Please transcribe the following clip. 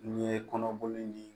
Ni ye kɔnɔboli